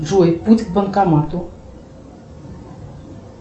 джой путь к банкомату